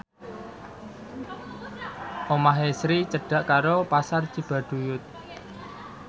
omahe Sri cedhak karo Pasar Cibaduyut